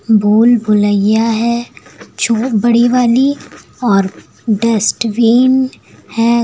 भूल भुलैया है जो बड़ी वाली और डस्टबिन है।